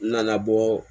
N nana bɔ